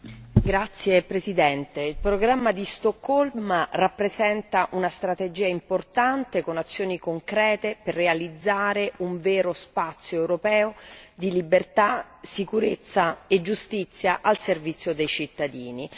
Signor Presidente, onorevoli colleghi, il programma di Stoccolma rappresenta una strategia importante con azioni concrete per realizzare un vero spazio europeo di libertà, sicurezza e giustizia al servizio dei cittadini.